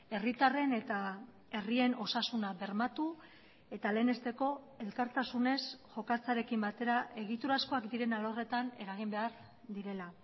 herritarren eta herrien osasuna bermatu eta lehenesteko elkartasunez jokatzearekin batera egiturazkoak diren alorretan eragin behar direla